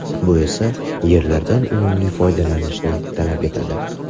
Bu esa yerlardan unumli foydalanishni talab etadi.